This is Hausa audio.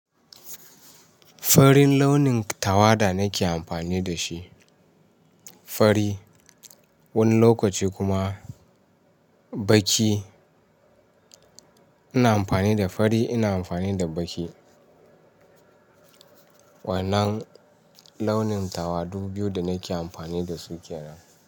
Farin launin tawada nake amfani da shi, fari wani lokaci kuma baki. Ina amfani da fari, ina amfani da baki. Waɗannan launin tawadu biyu da nake amfani da su kenan.